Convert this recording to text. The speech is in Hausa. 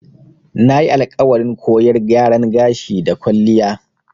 Nayi alƙawarin koyar gyaran gashi da kwalliya.